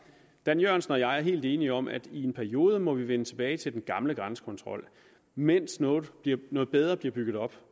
dan jørgensen og jeg er helt enige om at i en periode må vi vende tilbage til den gamle grænsekontrol mens noget noget bedre bliver bygget op